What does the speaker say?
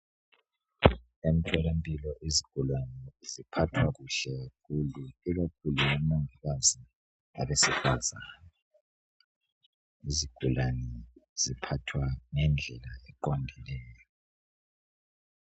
Emtholamphilo izigulane ziphathwa kuhle kakhulu. Ikakhulu ngabomungikazi abesifazana, izigulane ziphathwa ngedlela eqondileyo.